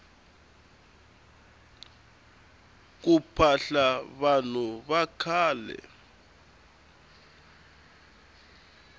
ku phahla vanhu vakhale